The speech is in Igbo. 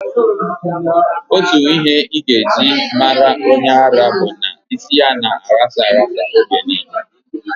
Otu ihe ị ga-eji mara onye ara bụ na isi ya na-aghasa aghasa oge niile.